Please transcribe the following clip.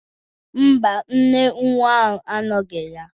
Ḿbà, nne nwa ahụ anọghị ya.